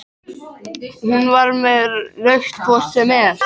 Hún var með rautt hvort sem er.